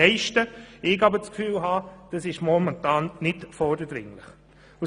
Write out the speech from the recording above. Doch ich habe den Ein druck, das sei momentan nicht vordringlich.